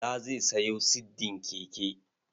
Bala zai sayo siddin keke.